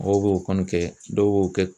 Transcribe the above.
Mɔgɔw b'o kɔni kɛ dɔw b'o kɛ